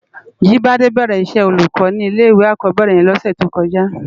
Jibade bèrè iṣè ólúkò ni ilé iwé ákòbèrè yèn lòsè tókòjá